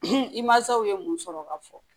i mansaw ye mun sɔrɔ ka fɔ